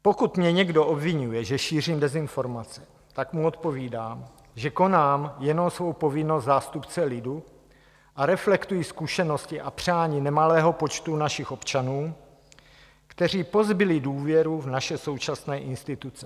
Pokud mě někdo obviňuje, že šířím dezinformace, tak mu odpovídám, že konám jenom svou povinnost zástupce lidu a reflektuji zkušenosti a přání nemalého počtu našich občanů, kteří pozbyli důvěru v naše současné instituce.